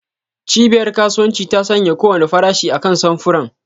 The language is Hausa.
Cibiyar kasuwanci ta sanya kowane farashi akan samfuran.